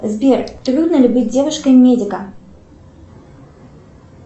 сбер трудно ли быть девушкой медика